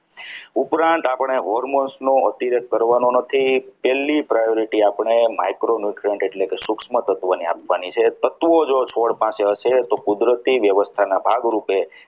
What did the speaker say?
ઉપરાંત આપણી hormones નો હતી જે કરવાનું નથી છેલ્લી priority આપણે micro newtriunt એટલે કે સૂક્ષ્મ તત્વોને આપવાની છે તત્વો જો છોડ પાસે હશે તો કુદરતની વ્યવસ્થા ના ભાગરૂપે